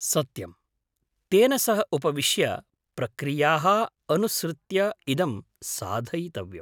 सत्यम्! तेन सह उपविश्य प्रक्रियाः अनुसृत्य इदं साधयितव्यम्।